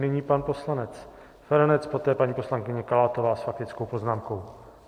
Nyní pan poslanec Feranec, poté paní poslankyně Kalátová s faktickou poznámkou.